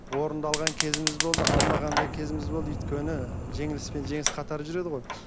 орын да алған кезіміз болды алмаған да кезіміз болды өйткені жеңіліс пен жеңіс қатар жүреді ғой